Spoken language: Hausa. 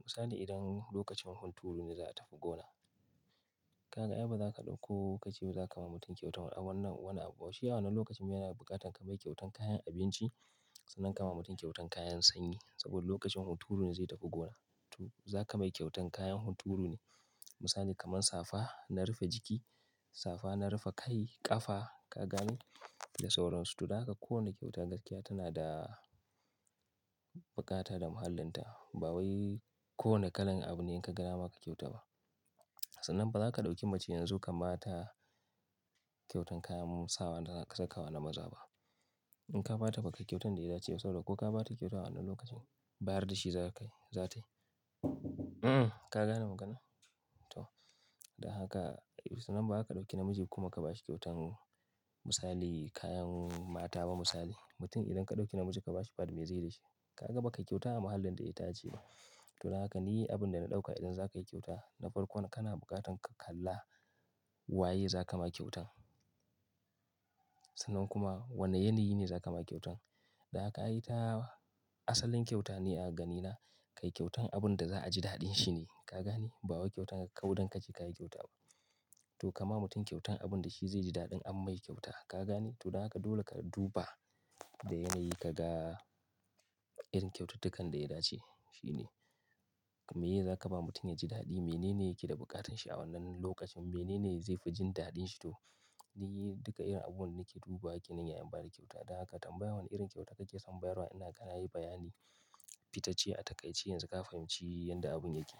Misali idan lokacin hunturu ne za'a tafi gona, ka ga ai ba za ka ɗauko ka ce za ka ma mutum kyautan wannan, wannan abu. Shi a wannan lokacin me yana da buƙatan ka mai kyautan kayan abinci sannan ka ma mutum kyautan kayan sanyi saboda lokacin hunturu ne zai tafi gona. To za ka mai kyautan kayan hunturu ne. Misali kamar safa na rufe jiki, safa na rufe kai, ƙafa ka gani? Da sauransu. To da haka kowane kyauta gaskiya tana da buƙatar da mahallinta. Ba wai kowane kalan abu ne in ka ga nama ka kyauta ba. Sannan ba za ka ɗauki macen yanzu ka ba ta kyautan kayan sawa da za ka saka wa na maza ba. In ka ba ta bakai kyautan da ya dace da saboda ko ka ba ta kyautar a wannan lokacin, bayar da shi za ka yi, za tayi. Ka gane maganar? To da haka, sannan ba za ka ɗauki namiji kuma ka ba shi kyautan misali kayan mata ba misali. Mutum idan ka ɗauki namiji ka ba shi baɗi me zai yi da shi? Ka ga baka yi kyauta a mahallin da ya dace ba. To da haka ni abin da na ɗauka idan za ka yi kyauta na farko, kowane kana buƙatan ka kalla waye za ka ma kyautan. Sannan kuma wane yanayi ne za ka ma kyautan. Da haka ai ta asalin kyauta ne a gani na, ka yi kyautan abin da za'a ji daɗin shi ne ka gani? Ba wa kyauta ka kauda kake ka yi kyauta ba. To ka ma mutum kyautan abin da shi zai ji daɗin amma yi kyauta ka gane? To da haka dole ka duba da yanayi ka ga irin kyaututtukan da ya dace shi ne. Me ye za ka ba mutum ya ji daɗi, menene yake da buƙatan shi a wannan lokacin, menene zai fi jin daɗin shi to ni duka irin abun nake duba ke nan yayin ba da kyauta. Dan haka tambaya wane irin kyauta kake son bayarwa ina kana yi bayani fitacce a taƙaice yanzu ka fahimci yadda abun yake.